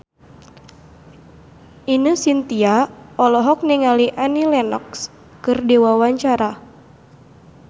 Ine Shintya olohok ningali Annie Lenox keur diwawancara